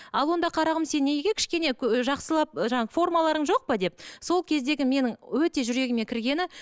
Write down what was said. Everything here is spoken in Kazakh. ал онда қарағым сен неге кішкене жақсылап ы жаңа формаларың жоқ па деп сол кездегі менің өте жүрегіме кіргені